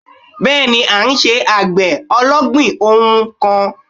Bẹ́ẹ̀ni à n se àgbè ológbìn ohun kan